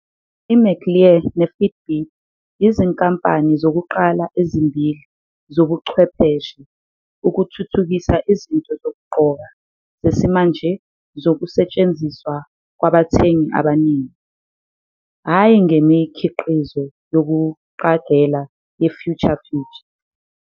IMcLear neFitbit yizinkampani zokuqala ezimbili zobuchwepheshe ukuthuthukisa izinto zokugqoka zesimanje zokusetshenziswa kwabathengi abaningi, hhayi ngemikhiqizo yokuqagela ye-future future.